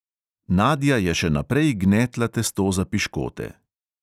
Nadia je še naprej gnetla testo za piškote.